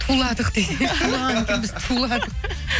туладық де туладық